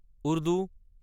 Urdu